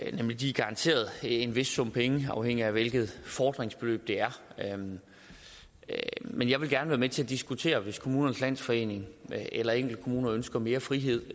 er nemlig garanteret en vis sum penge afhængigt af hvilket fordringsbeløb det er men jeg vil gerne være med til at diskutere det hvis kommunernes landsforening eller enkelte kommuner ønsker mere frihed